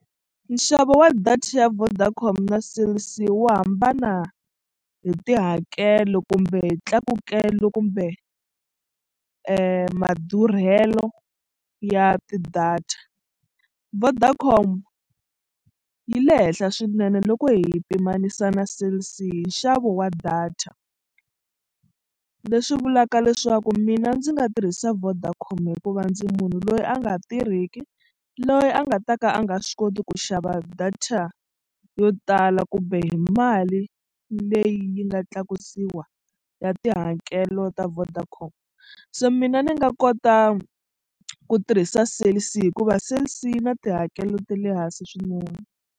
Nxavo wa data ya Vodacom na Cell C wu hambana hi tihakelo kumbe hi tlakukelo kumbe madurhelo ya ti-data. Vodacom yi le henhla swinene loko hi yi pimanisa na Cell C nxavo wa data leswi vulaka leswaku mina ndzi nga tirhisa Vodacom hikuva ndzi munhu loyi a nga tirheki loyi a nga ta ka a nga swi koti ku xava data yo tala kumbe hi mali leyi yi nga tlakusiwa ya tihakelo ta Vodacom so mina ni nga kota ku tirhisa Cell C hikuva Cell C yi na tihakelo ta le hansi swinene.